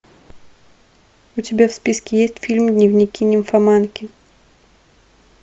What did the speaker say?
у тебя в списке есть фильм дневники нимфоманки